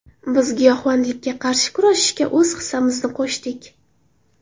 Biz giyohvandlikka qarshi kurashishga o‘z hissamizni qo‘shdik.